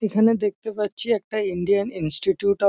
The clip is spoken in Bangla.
এখানে দেখতে পাচ্ছি একটা ইন্ডিয়ান ইনস্টিটিউট অফ --